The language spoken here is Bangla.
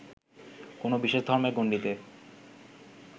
কোনো বিশেষ ধর্মের গণ্ডিতে